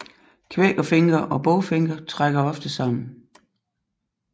Kvækerfinker og bogfinker trækker ofte sammen